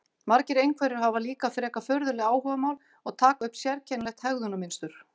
Margir einhverfir hafa líka frekar furðuleg áhugamál og taka upp sérkennilegt hegðunarmynstur.